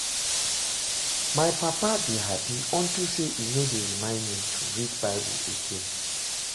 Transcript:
My papa dey happy unto say e no dey remind me to read bible again